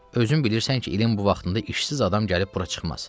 Özün bilirsən ki, ilin bu vaxtında işsiz adam gəlib bura çıxmaz.